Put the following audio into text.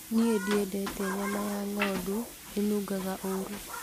Niĩ ndiendete nyama ya ng'ondu ĩnungaga ũru